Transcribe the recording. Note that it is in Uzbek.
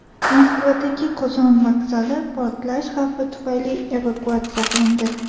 Moskvadagi Qozon vokzali portlash xavfi tufayli evakuatsiya qilindi.